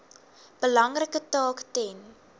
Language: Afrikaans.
belangrike taak ten